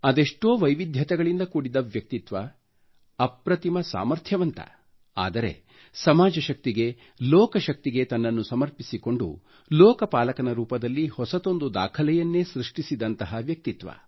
ಅದೆಷ್ಟೋ ವೈವಿಧ್ಯತೆಗಳಿಂದ ಕೂಡಿದ್ದ ವ್ಯಕ್ತಿತ್ವ ಅಪ್ರತಿಮ ಸಾಮರ್ಥ್ಯವಂತ ಆದರೆ ಸಮಾಜ ಶಕ್ತಿಗೆ ಲೋಕ ಶಕ್ತಿಗೆ ತನ್ನನ್ನು ಸಮರ್ಪಿಸಿಕೊಂಡು ಲೋಕ ಪಾಲಕನ ರೂಪದಲ್ಲಿ ಹೊಸತೊಂದು ದಾಖಲೆಯನ್ನೇ ಸೃಷ್ಟಿಸಿದಂತಹ ವ್ಯಕ್ತಿತ್ವ